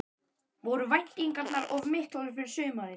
Voru væntingarnar of miklar fyrir sumarið?